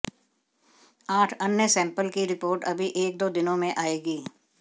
आठ अन्य सैंपल की रिपोर्ट अभी एक दो दिनों में आएगी